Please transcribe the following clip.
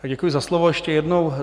Děkuji za slovo ještě jednou.